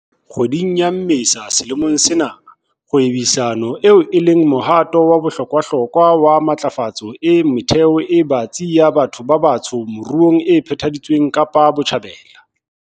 Kgweding ya Mmesa selemong sena, kgwebisano eo e leng mohato wa bohlokwahlokwa wa matlafatso e metheo e batsi ya batho ba batsho moruong e phethahaditswe Kapa Botjhabela.